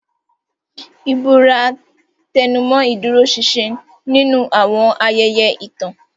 Ìbúra tẹnumọ́ ìdúróṣinṣin nínú àwọn ayẹyẹ ìtàn.